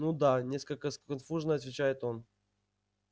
ну да несколько сконфуженно отвечает он